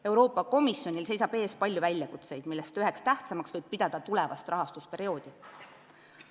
Euroopa Komisjonil seisab ees palju väljakutseid, millest üheks tähtsaimaks võib pidada tulevast rahastusperioodi.